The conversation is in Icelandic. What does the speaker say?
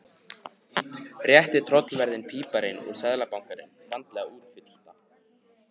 Rétti tollverðinum pappírana úr Seðlabankanum, vandlega útfyllta.